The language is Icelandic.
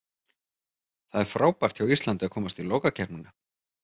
Það er frábært hjá Íslandi að komast í lokakeppnina.